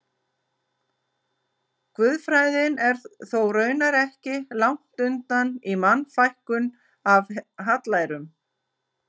Guðfræðin er þó raunar ekki langt undan í Mannfækkun af hallærum.